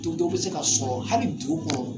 Don dɔw bɛ se ka sɔrɔ hali dugu kɔnɔ